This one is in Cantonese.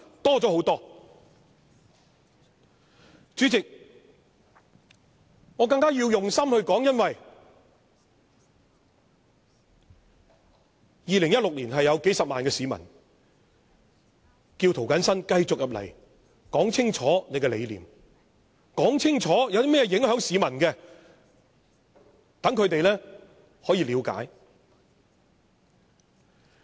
代理主席，我要更加用心發言，因為在2016年，是有數十萬名市民叫我要繼續在立法會清楚說出我的理念，而但凡有何影響市民的事情時，更要說清楚，讓他們得以了解。